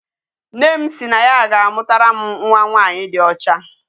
Nne m si na ya ga-amụtara m nwa nwanyị dị ọcha.